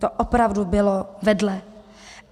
To opravdu bylo vedle.